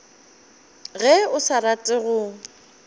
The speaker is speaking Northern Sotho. ge o sa rate go